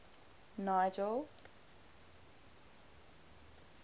nigel